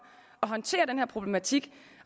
at håndtere den her problematik